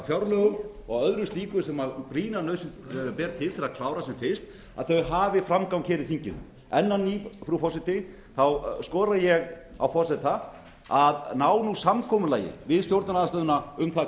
fjárlögum og öðru slíku sem brýna nauðsyn ber til að klára sem fyrst hafi framgang í þinginu enn á ný frú forseti skora ég á forseta að ná samkomulagi um stjórnarandstöðuna um